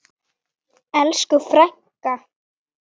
Elsku frænka.